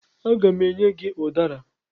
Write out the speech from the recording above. Aga m enye gị ụdara.